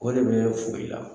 O de be fo i la